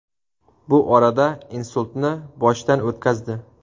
Bu orada insultni boshdan o‘tkazdi.